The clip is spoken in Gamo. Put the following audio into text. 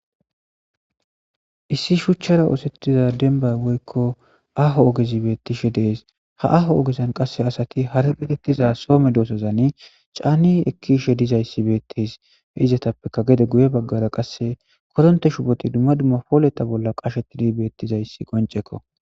issi shuchchara oosettiza denbay woykko aho ogezi bettishe dees ha aho ogezan qasse asati hara gedettiza soome doosozani caani ekkiishe dizayssi beettes he izatappeka gede guye baggara qasse koronte shuboti dumma dumma pooleta bolla qashetidi beettizayssi qoncekko